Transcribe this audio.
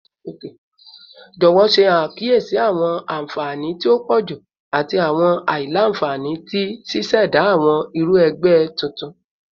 Jọwọ ṣe akiyesi awọn anfani ti o pọju ati awọn aila-nfani ti ṣiṣẹda awọn iru ẹgbẹ tuntun